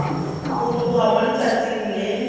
go tloga mo letsatsing le